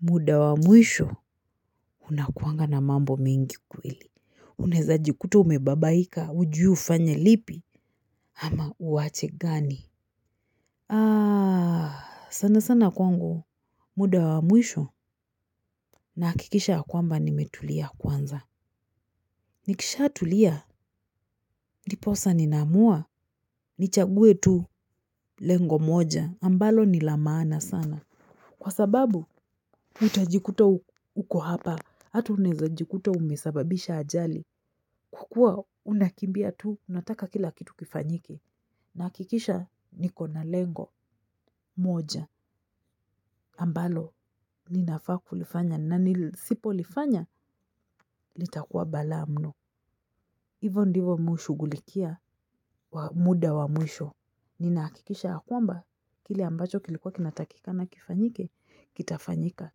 Muda wa mwisho unakuanga na mambo mingi kweli. Unaeza jikuta umebabaika ujui ufanye lipi ama uwache gani. Sana sana kwangu muda wa mwisho nahakikisha kwamba nimetulia kwanza. Nikisha tulia. Ndiposa nina amua. Nichaguwe tu lengo moja ambalo nilamaana sana. Kwa sababu utajikuta uko hapa. Hata unaeza jikuta umesababisha ajali. Kukua unakimbia tu, unataka kila kitu kifanyike. Nahakikisha niko na lengo, moja, ambalo, ninafa kulifanya. Nanisipo lifanya, litakua bala mno. Hivo ndivo mimi hushughulikia, muda wa mwisho. Nina hakikisha ya kwamba, kile ambacho kilikuwa kinatakikana kifanyike, kitafanyika.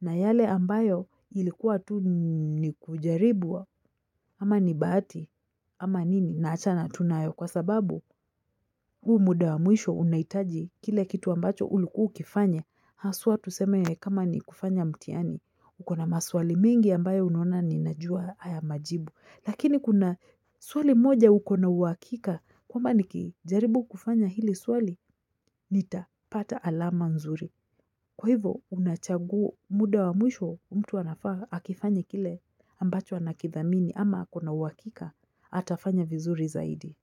Na yale ambayo ilikuwa tu nikujaribu, ama nibahati, ama nini, naachana tu nayo kwa sababu. Huu muda wa mwisho unahitaji kile kitu ambacho ulikua ukifanya. Haswa tuseme kama ni kufanya mtiani. Ukona maswali mingi ambayo unaona ninajua haya majibu. Lakini kuna swali moja ukona uhakika. Kwamba niki jaribu kufanya hili swali, nitapata alama nzuri. Kwa hivo unachagua muda wa mwisho, mtu anafaa akifanya kile ambacho anakidhamini ama ako na uhakika, atafanya vizuri zaidi.